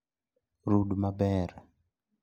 Rud maber